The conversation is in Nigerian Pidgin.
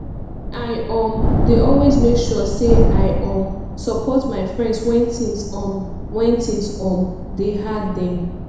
i um dey always make sure sey i um support my friends wen tins um wen tins um dey hard dem